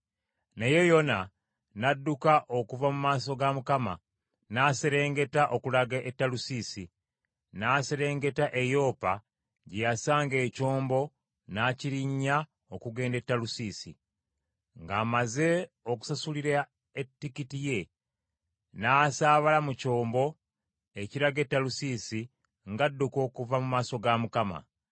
Naye Yona n’adduka okuva mu maaso ga Mukama , n’aserengeta okulaga e Talusiisi. N’aserengeta e Yopa gye yasanga ekyombo, n’akirinnya okugenda e Talusiisi. Ng’amaze okusasulira etikiti ye, n’asaabala mu kyombo ekiraga e Talusiisi ng’adduka okuva mu maaso ga Mukama .